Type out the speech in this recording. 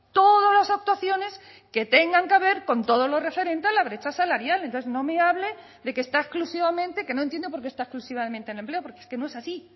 todas las actuaciones que tengan que ver con todo lo referente a la brecha salarial entonces no me hable de que está exclusivamente que no entiendo por qué está exclusivamente en empleo porque es que no es así